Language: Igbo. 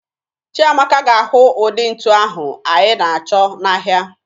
Chiamaka ga-ahụ ụdị ntu ahụ anyị na-achọ n'ahịa